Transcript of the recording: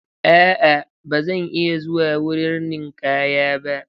A'a, ba zan iya zuwa wurin ninkaya ba.